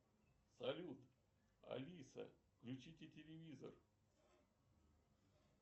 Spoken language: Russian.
салют алиса включите телевизор